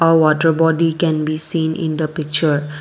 a water body can be seen in the picture.